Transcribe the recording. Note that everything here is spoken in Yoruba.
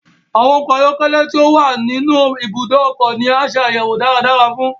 Awọn ọkọ ayọkẹlẹ ti o wa ninu ibùdó ọkọ ni a ṣe ayẹwo dáradára fún